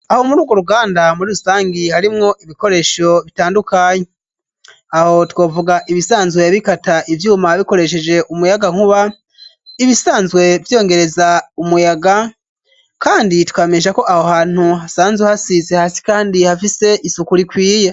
Aho murugwo ruganda muri rusangi harimwo ibikoresho bitandukanye ,aho twovuga ibisanzwe bikata ivyuma bikoresheje umuyaga nkuba, ibisanzwe vyongereza umuyaga kandi twomenyeshako aho hantu hasanze hasize hasi kandi hafise isuku rikwiye.